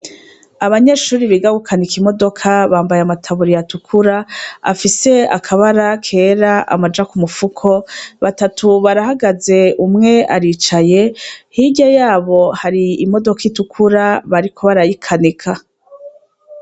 Abanyeshure biga Gukanika imodoka, bambaye amataburiya atukura, afise akabara kera amaja kumufuko batatu barahagaze umwe aricaye. Hirya yabo hari imodoka itukura bariko barayikanika.